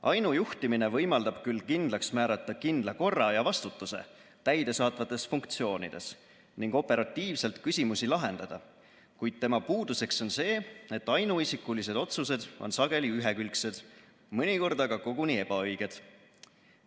Ainujuhtimine võimaldab küll kindlaks määrata kindla korra ja vastutuse täidesaatvates funktsioonides ning operatiivselt küsimusi lahendada, kuid tema puuduseks on see, et ainuisikulised otsused on sageli ühekülgsed, mõnikord aga koguni ebaõiged.